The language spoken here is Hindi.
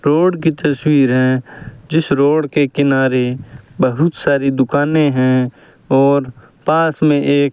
रोड की तस्वीर है जिस रोड के किनारे बहुत सारी दुकाने हैं और पास में एक --